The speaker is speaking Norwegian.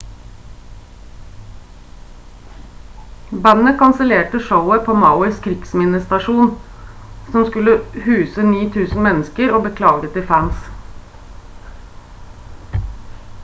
bandet kansellerte showet på mauis krigsminnestadion som skulle huse 9.000 mennesker og beklaget til fans